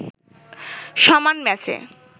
সমান ম্যাচে